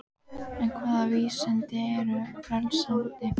En hvaða vísindi eru frelsandi?